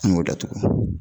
An y'o datugu